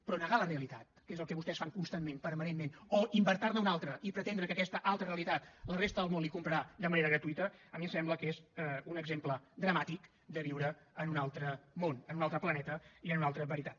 però negar la realitat que és el que vostès fan constantment permanentment o inventar ne una altra i pretendre que aquesta altra realitat la resta del món la hi comprarà de manera gratuïta a mi em sembla que és un exemple dramàtic de viure en un altre món en un altre planeta i en una altra veritat